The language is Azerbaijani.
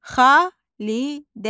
Xalidə.